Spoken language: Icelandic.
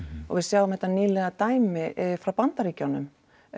og við sjáum þetta nýlega dæmi frá Bandaríkjunum